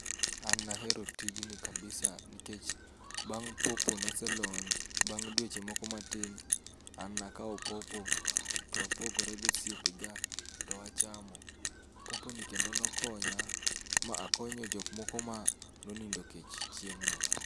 An nahero tijni kabisa nikech bang' popo noselony bang' dweche moko matin. An nakawo popo, towapogore gosiepega towachamo. Popo ni kendo nokonya, ma akonyo jok moko ma nonindo kech chieng' no.